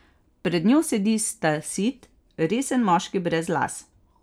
Pred njo sedi stasit, resen moški brez las.